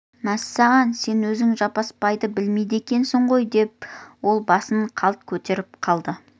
мәссаған сен өзің жаппасбайды білмейді екенсің ғой деп ол басын қалт көтеріп алды